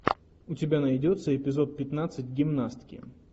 у тебя найдется эпизод пятнадцать гимнастки